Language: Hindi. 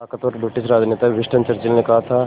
ताक़तवर ब्रिटिश राजनेता विंस्टन चर्चिल ने कहा था